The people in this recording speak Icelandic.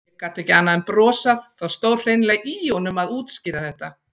Ég gat ekki annað en brosað, það stóð greinilega í honum að útskýra þetta.